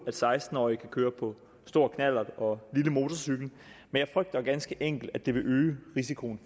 at seksten årige kan køre på stor knallert og lille motorcykel men jeg frygter ganske enkelt at det vil øge risikoen